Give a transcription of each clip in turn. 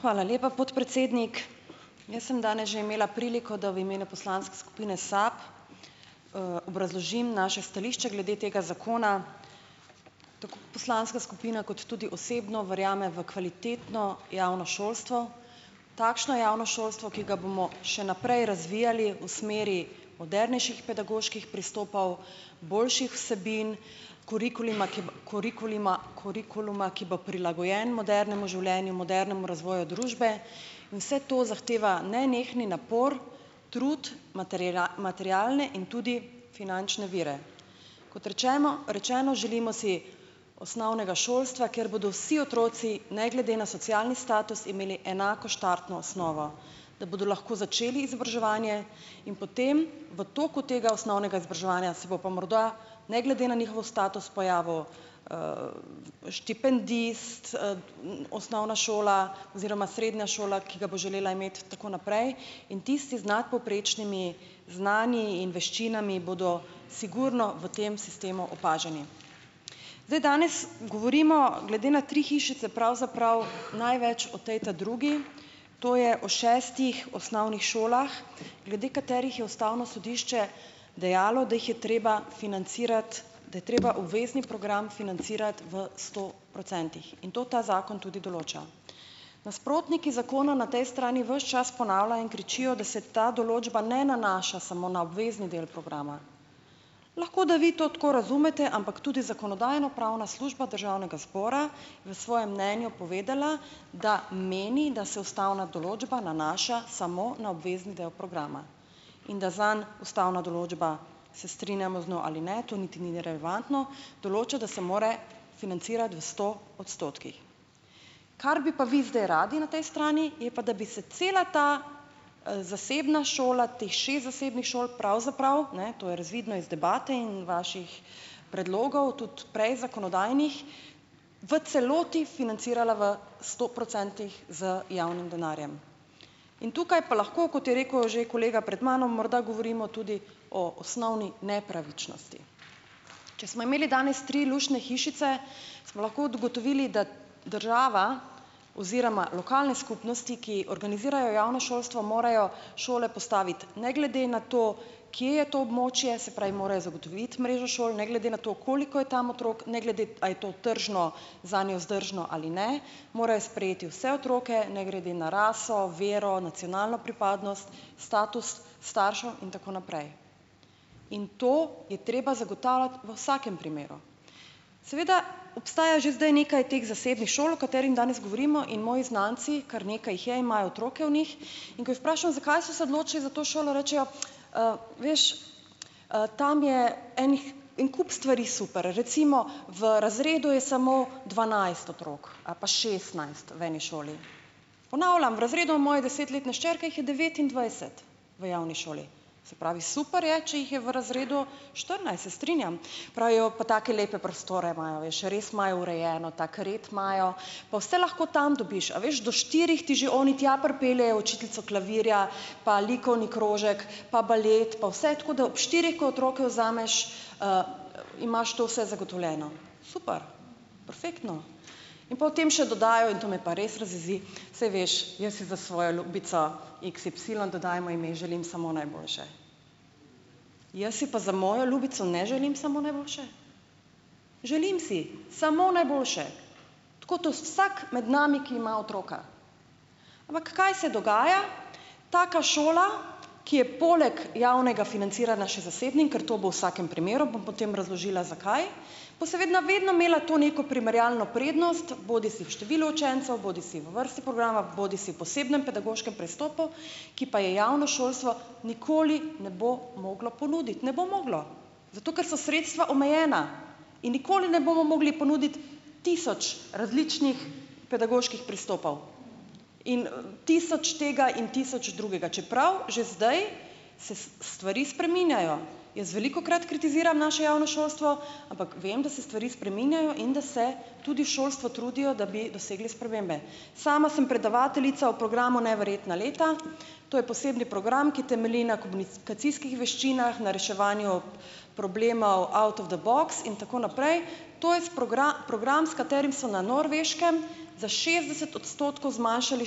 Hvala lepa, podpredsednik, jaz sem danes že imela priliko, da v imenu poslanske skupine SAB, obrazložim naše stališče glede tega zakona, poslanska skupina kot tudi osebno verjamem v kvalitetno javno šolstvo, takšno javno šolstvo, ki ga bomo še naprej razvijali v smeri modernejših pedagoških pristopov, boljših vsebin kurikulima, kurikulima, kurikuluma, ki bo prilagojen modernemu življenju, modernemu razvoju družbe, in vse to zahteva nenehni napor trud materialne in tudi finančne vire, kot rečeno, rečeno želimo si osnovnega šolstva, kjer bodo vsi otroci ne glede na socialni status imeli enako štartno osnovo, da bodo lahko začeli izobraževanje, in potem v toku tega osnovnega izobraževanja si bo pa morda ne glede na njihov status pojavil, štipendist, osnovna šola oziroma srednja šola, ki ga bo želela imeti in tako naprej in tisti z nadpovprečnimi znanji in veščinami bodo sigurno v tem sistemu opaženi, zdaj, danes govorimo glede na tri hišice pravzaprav največ o tej ta drugi, to je o šestih osnovnih šolah, glede katerih je ustavno sodišče dejalo, da jih je treba financirati, da je treba obvezni program financirati v sto procentih in to ta zakon tudi določa, nasprotniki zakona na tej strani ves čas ponavljajo in kričijo, da se določba ne nanaša samo na obvezni del programa, lahko da vi to tako razumete, ampak tudi zakonodajno-pravna služba državnega zbora v svojem mnenju povedala, da meni, da se ustavna določba nanaša samo na obvezni del programa in da zanj ustavna določba, se strinjamo z njo ali ne, to niti ni relevantno, določa, da se mora financirati v sto odstotkih, kar bi pa vi zdaj radi na tej strani, je pa, da bi se cela ta, zasebna šola, teh šest zasebnih šol pravzaprav, ne, to je razvidno iz debate in vaših predlogov tudi prej zakonodajnih, v celoti financirala v sto procentih z javnim denarjem in tukaj pa lahko, kot je rekel že kolega pred mano, morda govorimo tudi o osnovni nepravičnosti, če smo imeli danes tri luštne hišice, smo lahko ugotovili, da država oziroma lokalne skupnosti, ki organizirajo javna šolstva morajo šole postaviti ne glede na to, kje je to območje, se pravi, morajo zagotoviti mrežo šol ne glede na to, koliko je tam otrok, ne glede, a je to tržno, zanjo vzdržno ali ne, morajo sprejeti vse otroke ne glede na raso, vero, nacionalno pripadnost, status staršev in tako naprej, in to je treba zagotavljati v vsakem primeru, seveda obstaja že zdaj nekaj teh zasebnih šol, o katerim danes govorimo, in moji znanci, kar nekaj jih je, imajo otroke v njih, in ko je vprašam, zakaj so se odločili za to šolo, rečejo, veš, tam je enih, en kup stvari super, recimo, v razredu je samo dvanajst otrok ali pa šestnajst v eni šoli, ponavljam, v razredu moje desetletne hčerke jih je devetindvajset v javni šoli, se pravi, super je, če jih je v razredu štirinajst, se strinjam, pravijo pa, take lepe prostore imajo, a veš, res imajo urejeno, tak red imajo, pa vse lahko tam dobiš, a veš, do štirih ti že oni tja pripeljejo učiteljico klavirja pa likovni krožek pa balet pa vse tako, da ob štirih, ko otroka vzameš, imaš to vse zagotovljeno super perfektno in potem še dodajo, to me pa res razjezi, saj veš, jaz si za svojo ljubico, x y dodajmo ime, želim samo najboljše, jaz si pa za mojo ljubico ne želim samo najboljše, želim si samo najboljše, tako kot vsak med nami, ki ima otroka, ampak kaj se dogaja, taka šola, ki je poleg javnega financiranja še zasebna, ker to bo v vsakem primeru, bom potem razložila zakaj, pa seveda vedno imela to neko primerjalno prednost bodisi v številu učencev bodisi v vrsti programa bodisi v posebnem pedagoškem pristopu, ki pa je javno šolstvo nikoli ne bo moglo ponuditi, ne bo moglo, zato ker so sredstva omejena, in nikoli ne bomo mogli ponuditi tisoč različnih pedagoških pristopov in tisoč tega in tisoč drugega, čeprav že zdaj se stvari spreminjajo, jaz velikokrat kritiziram naše javno šolstvo, ampak vem, da se stvari spreminjajo in da se tudi v šolstvu trudijo, da bi dosegli spremembe, sama sem predavateljica v programu neverjetna leta, to je poseben program, ki temelji komunikacijskih veščinah na reševanju problemov out of the box in tako naprej, to je s program, s katerim so na Norveškem za šestdeset odstotkov zmanjšali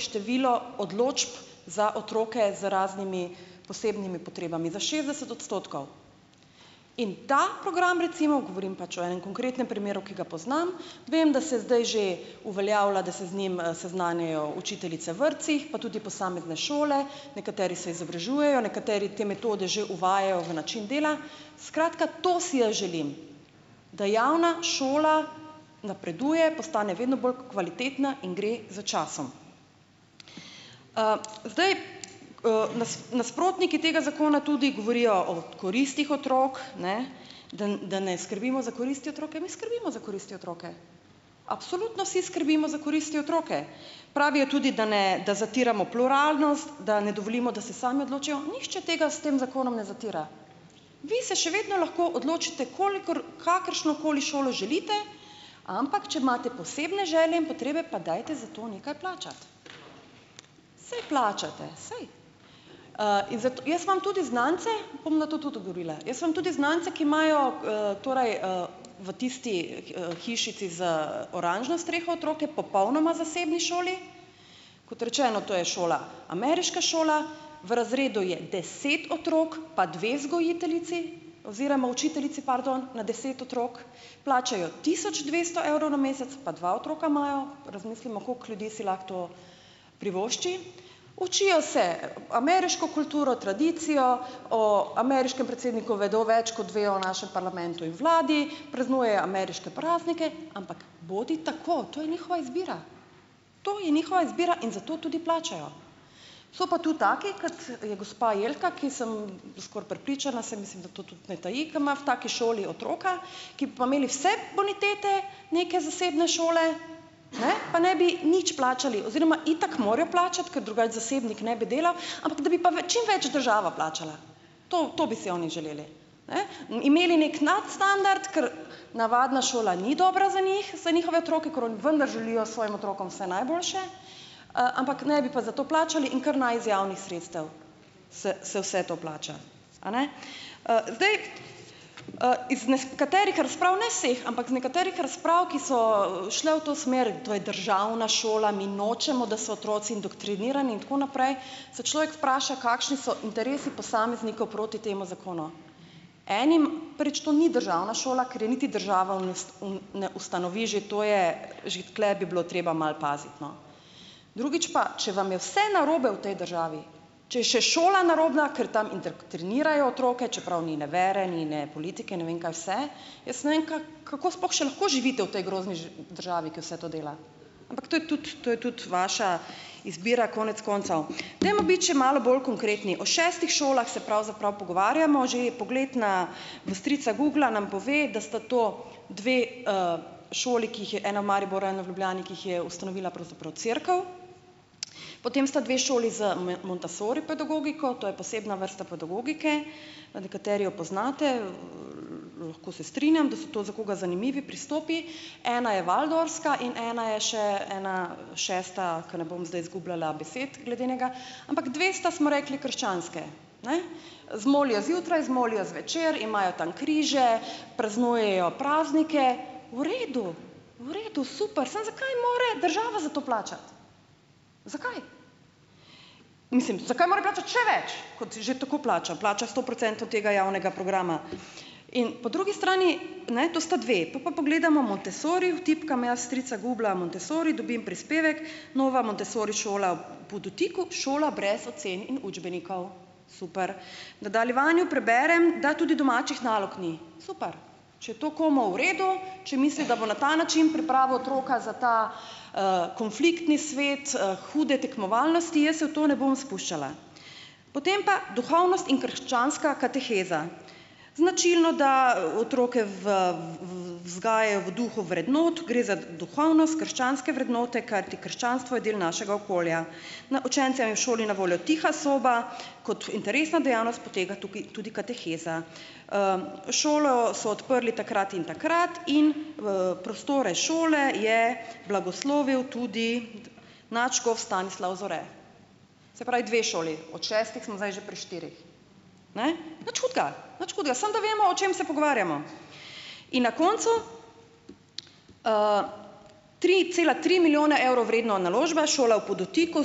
število odločb za otroke z raznimi posebnimi potrebami za šestdeset odstotkov, in ta program, recimo, govorim pač o enem konkretnem primeru, ki ga poznam, vem, da se zdaj že uveljavlja, da se z njim, seznanjajo učiteljice v vrtcih pa tudi posamezne šole, nekateri se izobražujejo, nekateri te metode že uvajajo v način dela, skratka, to si jaz želim, da javna šola napreduje, postane vedno bolj kvalitetna in gre za časom, zdaj, nasprotniki tega zakona tudi govorijo o koristih otrok, ne, da, da ne skrbimo za koristi otrok, mi skrbimo za koristi otrok, absolutno vsi skrbimo za koristi otrok, pravijo tudi, da ne, da zatiramo pluralnost, da ne dovolimo, da se sami odločijo, nihče tega s tem zakonom ne zatira, vi se še vedno lahko odločite, kolikor kakršnokoli šolo želite, ampak če imate posebne želje in potrebe, pa dajte za to nekaj plačati, saj plačati, saj, in jaz imam tudi znance, bom na to tudi odgovorila, jaz imam tudi znance, ki imajo, torej, v tisti, hišici z oranžno streho otroke, popolnoma zasebni šoli, kot rečeno, to je šola, ameriška šola, v razredu je deset otrok pa dve vzgojiteljici oziroma učiteljici, pardon, na deset otrok, plačajo tisoč dvesto evrov na mesec pa dva otroka imajo, razmislimo, koliko ljudi si lahko to privošči, učijo se ameriško kulturo, tradicijo, o ameriškem predsedniku vedo več, kot vejo o našem parlamentu in vladi, praznujejo ameriške praznike, ampak bodi tako, to je njihova izbira, to je njihova izbira, in zato tudi plačajo, so pa tudi taki, kot je gospa Jelka, ki sem skoraj prepričana, saj mislim, da to tudi ne taji, da ima v taki šoli otroka, ki bi pa imeli vse bonitete neke zasebne šole, ne, pa ne bi nič plačali oziroma itak morajo plačati, ker drugače zasebnik ne bi delal ampak da bi pa čimveč država plačala, to, to bi si oni želeli, ne, imeli neki nadstandard, ker navadna šola ni dobra za njih, saj njihove otroke, ker oni vendar želijo svojim otrokom vse najboljše, ampak ne bi pa za to plačali, in kar naj iz javnih sredstev se se vse to plača, a ne, zdaj, iz ne katerih razprav, ne vseh, ampak nekaterih razprav, ki so šle v to smer, in to je državna šola, mi nočemo, da so otroci indoktrinirani in tako naprej, se človek vpraša, kakšni so interesi posameznikov proti temu zakonu, enim prvič to ni državna šola, ker je niti država v ne, ustanovi, že to je, že tule bi bilo treba malo paziti, no, drugič pa če vam je vse narobe v tej državi, če je še šola narobna, ker tam trenirajo otroke, čeprav ni ne vere ni ne politike, ne vem kaj vse, jaz ne vem, kako sploh še lahko živite v tej grozni državi, ki vse to dela, ampak to je tudi, to je tudi vaša izbira konec koncev, dajmo biti še malo bolj konkretni, o šestih šolah se pravzaprav pogovarjamo, že pogled na v strica Googla nam pove, da sta to, dve, šoli ki jih je ena v Mariboru, ena v Ljubljani, ki jih je ustanovila pravzaprav cerkev, potem sta dve šoli z montessori pedagogiko, to je posebna vrsta pedagogike, nekateri jo poznate, lahko se strinjam, da so to za koga zanimivi pristopi, ena je waldorfska in ena je še ena šesta, ker ne bom zdaj izgubljala besed glede enega, ampak dve sta smo rekli krščanske, ne, zmolijo zjutraj, zmolijo zvečer, imajo tam križe, praznujejo praznike, v redu, v redu, super, samo zakaj mora država za to plačati, zakaj mislim, zakaj mora plačati še več, kot je že tako plača, plača sto procentov tega javnega programa, in po drugi strani, ne, to sta dve pol pa pogledamo, vtipkam jaz strica Googla, "montessori" dobim prispevek Nova montessori šola v Podutiku - šola brez ocen in učbenikov, super, nadaljevanju preberem, da tudi domačih nalog ni, super, če je to komu v redu, če misli, da bo na ta način pripravil otroka za ta, konfliktni svet, hude tekmovalnosti, jaz se v to ne bom spuščala, potem pa duhovnost in krščanska kateheza, značilno, da otroke v vzgajajo v duhu vrednot gre za duhovnost krščanske vrednote, kajti krščanstvo je del našega okolja, no, učencem je v šoli na voljo tiha soba, kot interesna dejavnost poteka tukaj tudi kateheza, šolo so odprli takrat in takrat in v prostore šole je blagoslovil tudi nadškof Stanislav Zore, se pravi, dve šoli od šestih smo zdaj že pri štirih, ne, nič hudega, nič hudega, samo da vemo, o čem se pogovarjamo, in na koncu, tri cela tri milijone evrov vredna naložba je šola v Podutiku,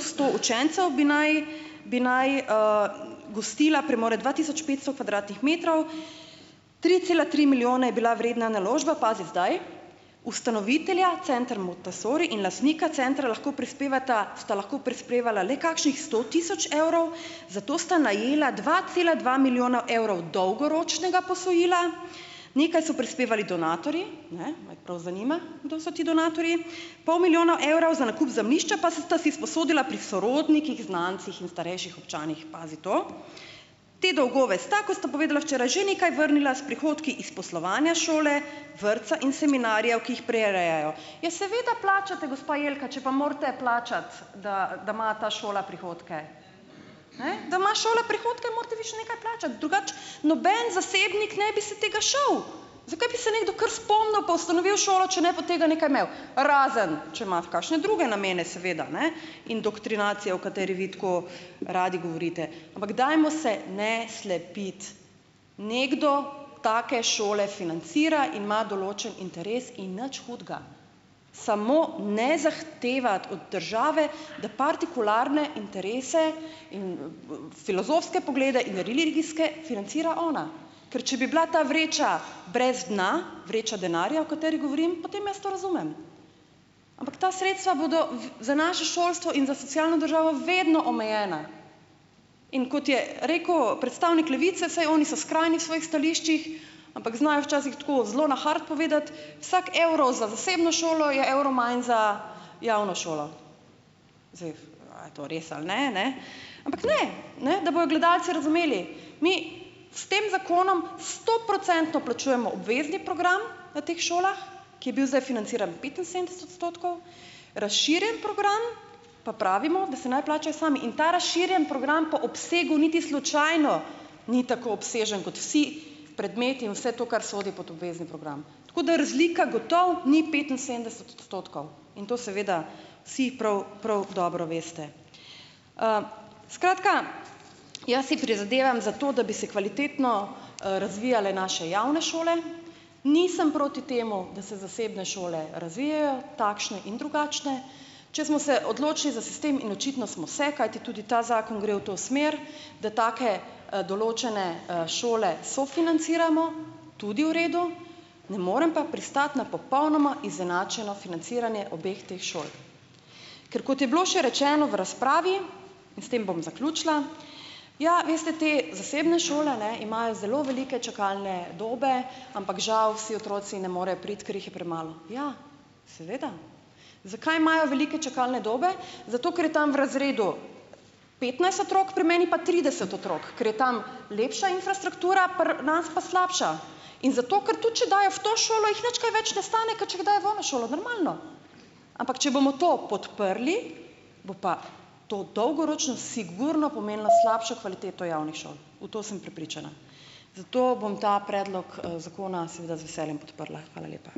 sto učencev bi naj, bi naj, gostila premore dva tisoč petsto kvadratnih metrov, tri cela tri milijone je bila vredna naložba, pazi zdaj, ustanovitelja Center Montessori in lastnika centra lahko prispevata, sta lahko prispevala le kakšnih sto tisoč evrov, zato sta najela dva cela dva milijonov evrov dolgoročnega posojila, nekaj so prispevali donatorji, ne, me prav zanima, kdo so ti donatorji, pol milijona evra za nakup zemljišča pa sta si izposodila pri sorodnikih, znancih in starejših občanih, pazi to, te dolgove sta, ko sta povedala včeraj, že nekaj vrnila s prihodki iz poslovanja šole, vrtca in seminarjev, ki jih prirejajo, ja seveda plačati, gospa Jelka, če pa morate plačati, da da ima ta šola prihodke, ne, da ima šola prihodke, morate vi še nekaj plačati, drugače noben zasebnik ne bi se tega šel, zakaj bi se nekdo kar spomnil pa ustanovil šolo, če ne bi od tega nekaj imel, razen če ima kakšne druge namene seveda, ne, indoktrinacija o kateri vi tako radi govorite, ampak dajmo se ne slepiti, nekdo take šole financira in ima določen interes in nič hudega, samo ne zahtevati od države da partikularne interese in filozofske poglede in religijske financira ona, ker če bi bila ta vreča brez dna, vreča denarja, o kateri govorim, potem jaz to razumem, ampak ta sredstva bodo v za naše šolstvo in socialno državo vedno omejena, in kot je rekel predstavnik Levice, saj oni so skrajni v svojih stališčih, ampak znajo včasih tako zelo na grdo povedati, vsak evro za zasebno šolo je evro manj za javno šolo, a je to res ali ne, ne, ampak ne ne da bojo gledalci razumeli, mi s tem zakonom stoprocentno plačujemo obvezni program na teh šolah, ki je bil zdaj financiran petinsedemdeset odstotkov, razširjeni program, pa pravimo, da si naj plačajo sami, in ta razširjeni program po obsegu niti slučajno ni tako obsežen kot vsi predmeti in vse to, kar sodi pod obvezni program, tako da razlika gotovo ni petinsedemdeset odstotkov in to seveda si prav, prav dobro veste, skratka, jaz si prizadevam za to, da bi se kvalitetno, razvijale naše javne šole, nisem proti temu, da se zasebne šole razvijejo takšne in drugačne, če smo se odločili za sistem in očitno smo se, kajti tudi ta zakon gre v to smer, da take, določene, šole sofinanciramo, tudi v redu, ne morem pa pristati na popolnoma izenačeno financiranje obeh teh šol, ker kot je bilo še rečeno v razpravi, in s tem bom zaključila, ja, veste, te zasebne šole, ne, imajo zelo velike čakalne dobe ampak žal vsi otroci ne morejo priti, ker jih je premalo, ja, seveda. Zakaj imajo velike čakalne dobe? Zato ker je tam v razredu petnajst otrok, pri meni pa trideset otrok, ker je tam lepša infrastruktura, pri nas pa slabša, in zato ker, tudi če dajo v to šolo, jih nič kaj več ne stane, ker če jih dajo v ono šolo normalno, ampak če bomo to podprli, bo pa to dolgoročno sigurno pomenilo slabšo kvaliteto javnih šol, v to sem prepričana, zato bom ta predlog, zakona seveda z veseljem podprla. Hvala lepa.